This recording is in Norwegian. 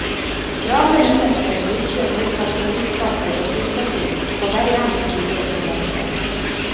Travle mennesker myldret mot parkeringsplasser og busstasjon, på vei hjem til noen som ventet.